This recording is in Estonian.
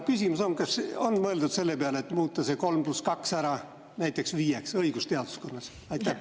Küsimus on: kas on mõeldud selle peale, et muuta see 3 + 2 viieks, näiteks õigusteaduskonnas?